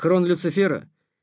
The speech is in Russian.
корона люцифера